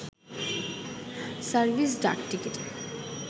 service ডাকটিকেট